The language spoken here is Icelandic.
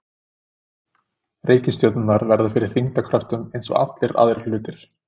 Reikistjörnurnar verða fyrir þyngdarkröftum eins og allir aðrir hlutir.